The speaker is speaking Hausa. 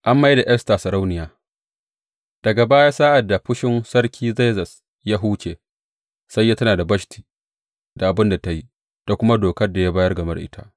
An mai da Esta sarauniya Daga baya sa’ad da fushin Sarki Zerzes ya huce, sai ya tuna da Bashti da abin da ta yi, da kuma dokar da ya bayar game da ita.